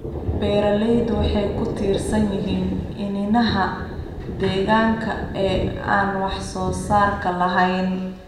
Beeraleydu waxay ku tiirsan yihiin iniinaha deegaanka ee aan wax-soo-saarka lahayn.